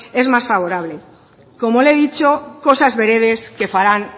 es más favorable como le he dicho cosas veredes que farán